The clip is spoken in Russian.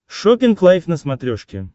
шоппинг лайв на смотрешке